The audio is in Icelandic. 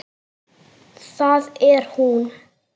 Það er hún.